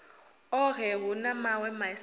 ohe hu na mawe masia